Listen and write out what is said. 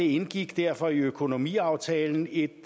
indgik derfor i økonomiaftalen et